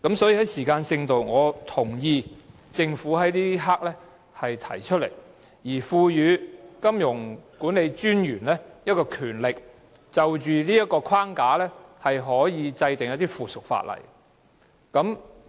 所以，在時間性上，我同意政府此刻提出《條例草案》，賦予金融管理專員權力就這框架制定附屬法例。